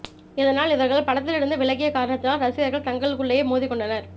இதனால் இவர்கள் படத்திலிருந்து விலகிய காரணத்தினால் ரசிகர்கள் தங்களுக்குள்ளேயே மோதிக் கொண்டனர்